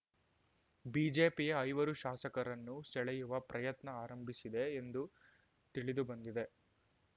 ಬಿಜೆಪಿಯ ಐವರು ಶಾಸಕರನ್ನು ಸೆಳೆಯುವ ಪ್ರಯತ್ನ ಆರಂಭಿಸಿದೆ ಎಂದು ತಿಳಿದುಬಂದಿದೆ